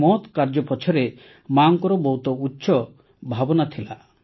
ଏହି ମହତ୍ କାର୍ଯ୍ୟ ପଛରେ ମାଙ୍କର ବହୁତ ଉଚ୍ଚ ଭାବନା ରହିଥିଲା